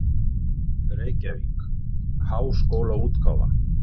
Reykjavík: Háskólaútgáfan.